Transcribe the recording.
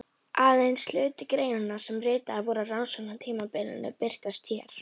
Aðeins hluti greinanna sem ritaðar voru á rannsóknartímabilinu birtast hér.